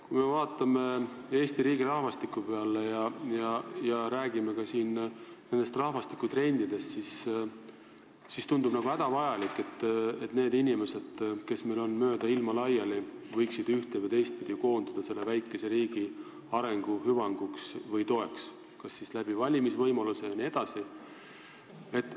Kui me vaatame Eesti riigi rahvastiku peale ja räägime ka rahvastikutrendidest, siis tundub hädavajalik, et need inimesed, kes meil on mööda ilma laiali, võiksid ühte- või teistpidi koonduda meie väikese riigi hüvangu toetamise nimel, kas siis valimistel hääletades või ka muul moel.